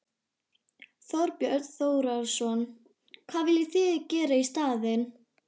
Þorbjörn Þórðarson: Hvað viljið þið gera í staðinn?